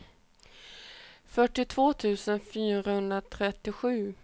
fyrtiotvå tusen fyrahundratrettiosju